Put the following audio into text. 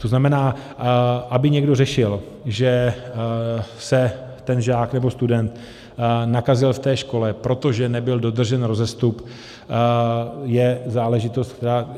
To znamená, aby někdo řešil, že se ten žák nebo student nakazil v té škole, protože nebyl dodržen rozestup, je záležitost, která...